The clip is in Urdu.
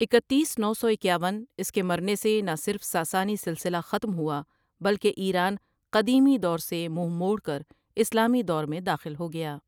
اکتیس نس سو اکیاون اس کے مرنے سے نہ صرف ساسانی سلسلہ ختم ہوا بلکہ ایران قدیمی دور سے منہ موڑ کر اسلامی دور میں داخل ہوگیا۔